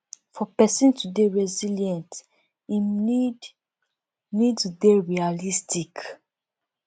for person to dey resilient im need need to dey realistic